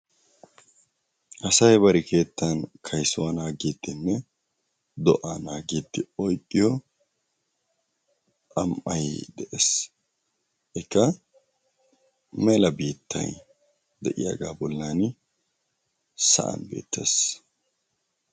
Asay bari keettan kayssuwaa naagidinne do'aa naagiidi oyqqiyo xam'ay de'ees. Ikka mela biittay de'iyagaa bolan sa'an uttiis.